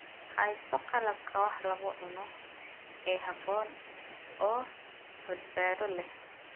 Hayso qalabka wax lagu cuno ee habboon oo badbaado leh.